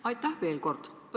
Aitäh veel kord!